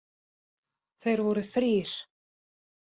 Þeir voru þrír.